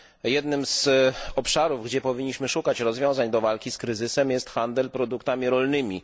Jednym z obszarów, gdzie powinniśmy szukać rozwiązań do walki z kryzysem, jest handel produktami rolnymi.